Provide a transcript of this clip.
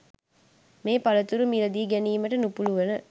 මේ පළතුරු මිල දී ගැනීමට නුපුළුවන